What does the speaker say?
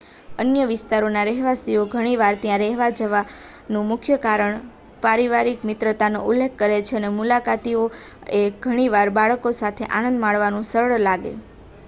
અન્ય વિસ્તારોના રહેવાસીઓ ઘણી વાર ત્યાં રહેવા જવા નું મુખ્ય કારણ પારિવારિક મિત્રતાનો ઉલ્લેખ કરે છે અને મુલાકાતીઓ ને ઘણી વાર બાળકો સાથે આનંદ માણવાનું સરળ લાગે